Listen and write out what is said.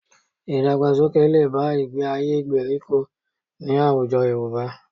Ìdàgbàsókè lè bá ìgbé-ayé gbèríko ní àwùjọ Yorùbá